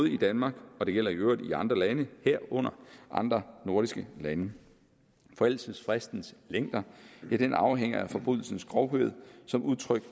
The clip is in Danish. i danmark og det gælder i øvrigt i andre lande herunder andre nordiske lande forældelsesfristens længder afhænger af forbrydelsens grovhed som udtryk